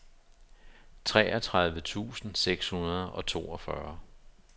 treogtredive tusind seks hundrede og toogfyrre